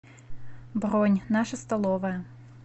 бронь наша столовая